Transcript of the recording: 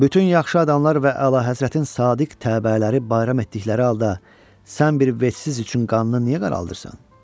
Bütün yaxşı adamlar və əlahəzrətin sadiq təbəələri bayram etdikləri halda, sən bir vətsiz üçün qannı niyə qaraldırsan?